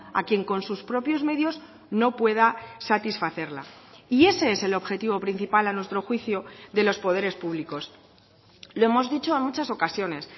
a quien con sus propios medios no pueda satisfacerla y ese es el objetivo principal a nuestro juicio de los poderes públicos lo hemos dicho en muchas ocasiones